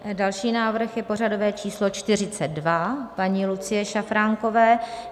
Další návrh je pořadové číslo 42 paní Lucie Šafránkové.